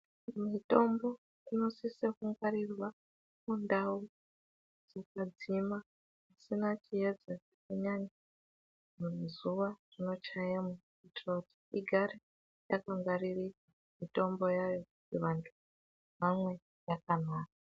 Mitombo inosisa kungwarirwa mundau dzakadzima dzisina chiedza chakanyanya kana zuwa rinochayemwo kuitire kuti igare yakangwaririka mitombo yayo kuti vantu vamwe yakanaka.